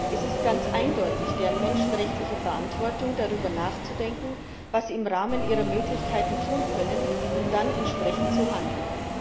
Es ist ganz eindeutig deren menschenrechtliche Verantwortung, darüber nachzudenken, was sie im Rahmen ihrer Möglichkeiten tun können, und dann entsprechend zu handeln.